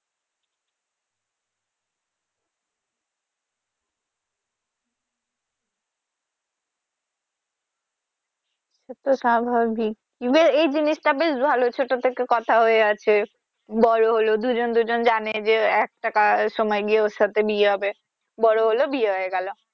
এ তো স্বাভাবিক even এই জিনিস টা বেশ ভালোই ছোট থেকে কথা হয়ে আছে বড় হলো দুজন দুজন জানে যে একটা সময় দিয়ে ওর সাথে বিয়ে হবে বড় হলো বিয়ে হয়ে গেলো